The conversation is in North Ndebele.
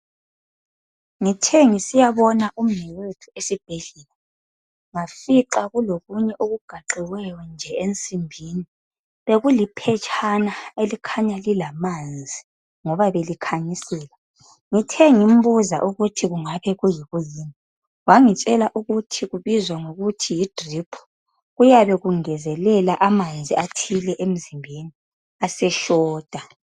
Ngithe ngisiyabona umnewethu esibhedlela ngafica kulokunye okugaxiweyo nje ensimbini. Bekuliphetshana elikhanya lilamanzi ngoba belikhanyisela Ngithe ngimbuza ukuthi kungaba kuyikuyini wathi Yi drip. Kuyabe kungezekela amanzi athile emzimbeni aseshota.